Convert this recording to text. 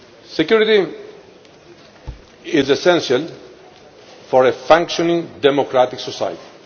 Security is essential for a functioning democratic society.